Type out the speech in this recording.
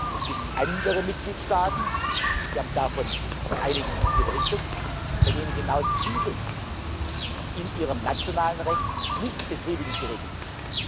Es gibt andere Mitgliedstaaten Sie haben von einigen hier berichtet bei denen genau dieses in ihrem nationalen Recht nicht befriedigend geregelt ist.